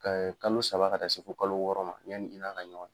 kalo saba ka taa se fo kalo wɔɔrɔ ma yani i n'a ka ɲɔgɔn ye.